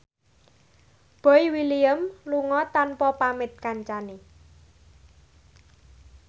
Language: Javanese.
Boy William lunga tanpa pamit kancane